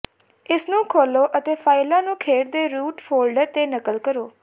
ਇਸਨੂੰ ਖੋਲ੍ਹੋ ਅਤੇ ਫਾਇਲਾਂ ਨੂੰ ਖੇਡ ਦੇ ਰੂਟ ਫੋਲਡਰ ਤੇ ਨਕਲ ਕਰੋ